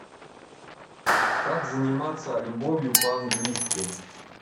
как заниматься любовью по английски